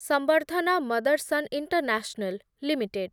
ସଂବର୍ଦ୍ଧନା Motherson international limited